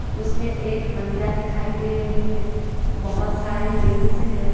उसमें एक महिला दिखाई दे रही है बहुत सारे जेंस है।